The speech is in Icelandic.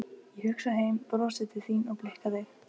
Ég hugsa heim, brosi til þín og blikka þig.